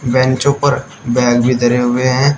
बेचों पर बैग भी धरे हुए हैं।